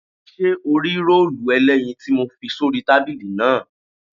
Ṣé o rí róòlù ẹlẹ́yin tí mo fi sórí tábìlì náà?